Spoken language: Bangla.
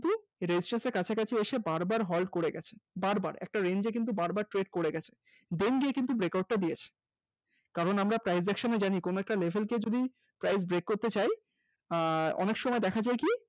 resistane এর কাছাকাছি এসে বারবার halt করে গেছে, বারবার একটা range কে কিন্তু বারবার test করে গেছে। then গিয়ে কিন্তু break out টা দিয়েছে কারন আমরা price action এ জানি কোন একটা level কে যদি price break করতে চায় আহ অনেক সময় দেখা যায় কি